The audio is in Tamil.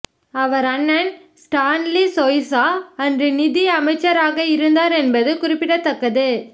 அவர் அண்ணன் ஸ்டான்லி சொய்சா அன்று நிதி அமைச்சராகஇருந்தார் என்பது குறிப்பிடத்தக்கது